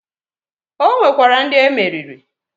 O nwekwara ndị emeriri.